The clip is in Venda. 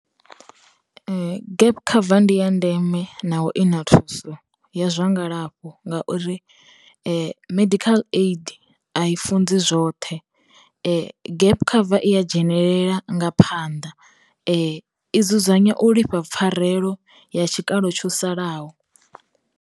Gap cover ndi ya ndeme naho ina thuso ya zwa ngalafho ngauri, medical aid a i funzi zwoṱhe gap cover i ya dzhenelela nga phanḓa, i dzudzanya u lifha pfarelo ya tshikalo tsho salaho.